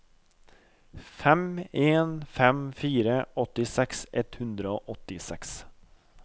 fem en fem fire åttiseks ett hundre og åttiseks